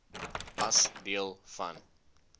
as deel van